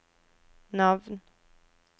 navn